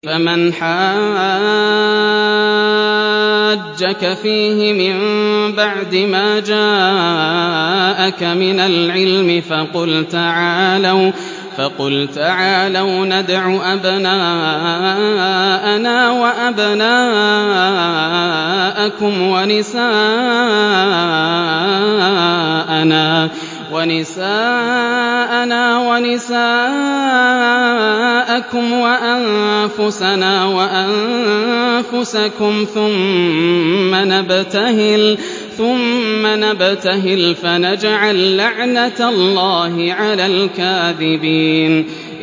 فَمَنْ حَاجَّكَ فِيهِ مِن بَعْدِ مَا جَاءَكَ مِنَ الْعِلْمِ فَقُلْ تَعَالَوْا نَدْعُ أَبْنَاءَنَا وَأَبْنَاءَكُمْ وَنِسَاءَنَا وَنِسَاءَكُمْ وَأَنفُسَنَا وَأَنفُسَكُمْ ثُمَّ نَبْتَهِلْ فَنَجْعَل لَّعْنَتَ اللَّهِ عَلَى الْكَاذِبِينَ